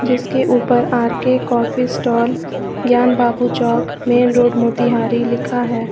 जिसके ऊपर R K coffee stall Gyan Babu Chowk main road Motihari लिखा है।